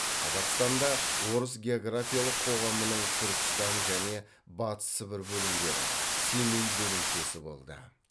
қазақстанда орыс географиялық қоғамының түркістан және батыс сібір бөлімдері семей бөлімшесі болды